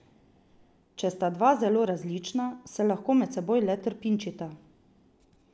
Če sta dva zelo različna, se lahko med seboj le trpinčita.